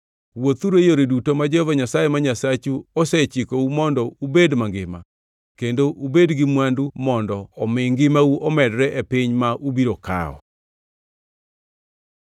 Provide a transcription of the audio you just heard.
Wuothuru e yore duto ma Jehova Nyasaye ma Nyasachu osechikou mondo ubed mangima kendo ubed gi mwandu mondo omi ngimau omedre e piny ma ubiro kawo.